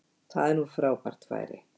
Þar er nú frábært færi